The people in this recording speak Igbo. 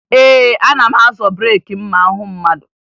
Ee, ana m azọ breeki ma m hụ mmadụ